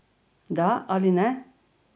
Da ali ne?